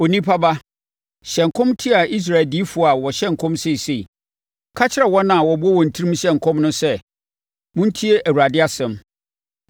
“Onipa ba, hyɛ nkɔm tia Israel adiyifoɔ a wɔhyɛ nkɔm seesei. Ka kyerɛ wɔn a wɔbɔ wɔn tirim hyɛ nkɔm no sɛ: ‘Montie Awurade asɛm!